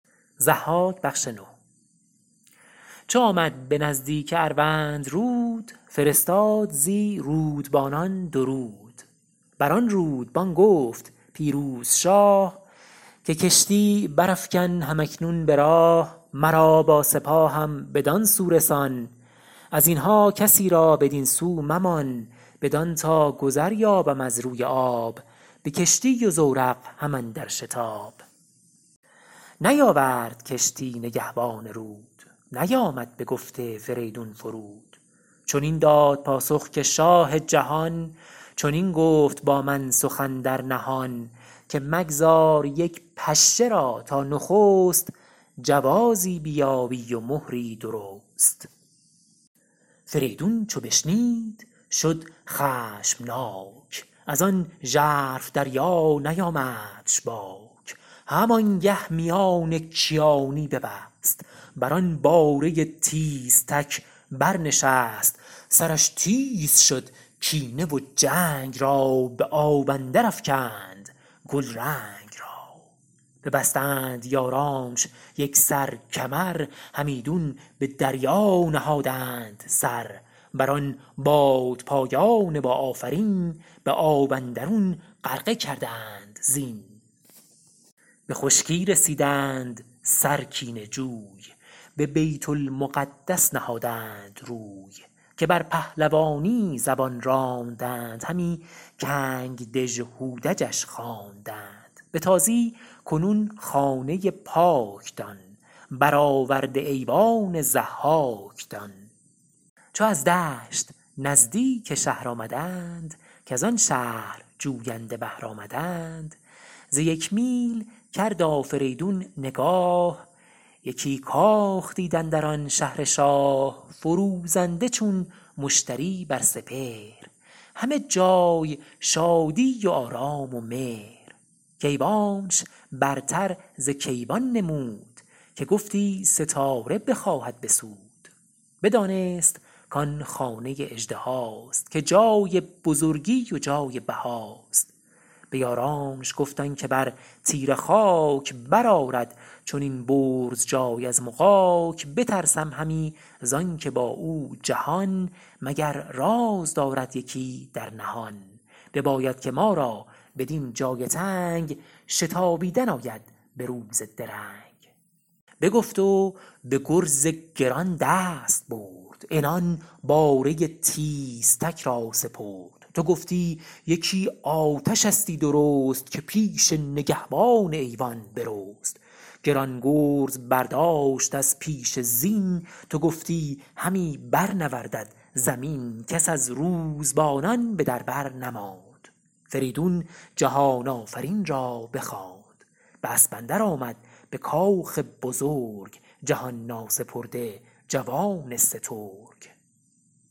چو آمد به نزدیک اروندرود فرستاد زی رودبانان درود بران رودبان گفت پیروز شاه که کشتی برافگن هم اکنون به راه مرا با سپاهم بدان سو رسان از اینها کسی را بدین سو ممان بدان تا گذر یابم از روی آب به کشتی و زورق هم اندر شتاب نیاورد کشتی نگهبان رود نیامد بگفت فریدون فرود چنین داد پاسخ که شاه جهان چنین گفت با من سخن در نهان که مگذار یک پشه را تا نخست جوازی بیابی و مهری درست فریدون چو بشنید شد خشمناک ازان ژرف دریا نیامدش باک هم آنگه میان کیانی ببست بران باره تیزتک بر نشست سرش تیز شد کینه و جنگ را به آب اندر افگند گلرنگ را ببستند یارانش یکسر کمر همیدون به دریا نهادند سر بر آن بادپایان با آفرین به آب اندرون غرقه کردند زین به خشکی رسیدند سر کینه جوی به بیت المقدس نهادند روی که بر پهلوانی زبان راندند همی کنگ دژهودجش خواندند به تازی کنون خانه پاک دان برآورده ایوان ضحاک دان چو از دشت نزدیک شهر آمدند کزان شهر جوینده بهر آمدند ز یک میل کرد آفریدون نگاه یکی کاخ دید اندر آن شهر شاه فروزنده چون مشتری بر سپهر همه جای شادی و آرام و مهر که ایوانش برتر ز کیوان نمود که گفتی ستاره بخواهد بسود بدانست کان خانه اژدهاست که جای بزرگی و جای بهاست به یارانش گفت آنکه بر تیره خاک برآرد چنین برز جای از مغاک بترسم همی زانکه با او جهان مگر راز دارد یکی در نهان بباید که ما را بدین جای تنگ شتابیدن آید به روز درنگ بگفت و به گرز گران دست برد عنان باره تیزتک را سپرد تو گفتی یکی آتشستی درست که پیش نگهبان ایوان برست گران گرز برداشت از پیش زین تو گفتی همی بر نوردد زمین کس از روزبانان به در بر نماند فریدون جهان آفرین را بخواند به اسب اندر آمد به کاخ بزرگ جهان ناسپرده جوان سترگ